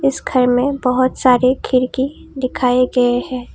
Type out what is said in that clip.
इस घर में बहोत सारे खिरकी दिखाए गए हैं।